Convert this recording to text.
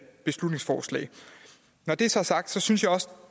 beslutningsforslag når det så er sagt synes jeg også at